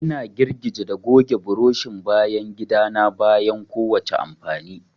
Ina girgije da goge burushin bayan gida na bayan kowace amfani.